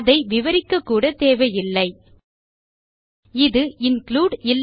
அதை விவரிக்கக்கூட தேவையில்லை இது இன்க்ளூடு